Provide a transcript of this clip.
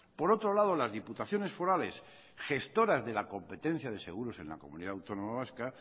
por otro lado las diputaciones forales gestoras de la competencia de seguros en la comunidad autónoma vasca